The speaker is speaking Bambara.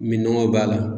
Min nɔgɔ b'a la